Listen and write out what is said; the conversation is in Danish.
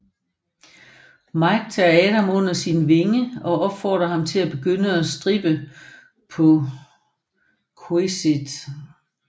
Mike tager Adam under sin vinge og opfordrer ham til at begynde at strippe på Xquisite